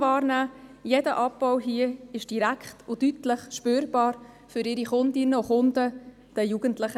Hier ist jeder Abbau direkt und deutlich spürbar für die Kundinnen und Kunden – die Jugendlichen.